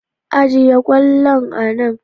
Ajiye kwallon a nan.